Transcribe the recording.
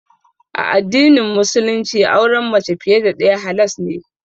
A addinin Musulunci auren mace fiye da ɗaya halas ne.